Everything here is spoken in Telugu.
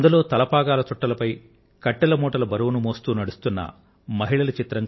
తలపాగాల చుట్టలపై కట్టెల మూటల బరువును మోస్తూ నడుస్తున్న మహిళల చిత్రం